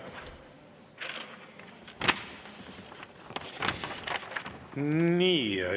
Aitäh!